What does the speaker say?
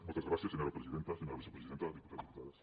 moltes gràcies senyora presidenta senyora vicepresidenta diputats diputades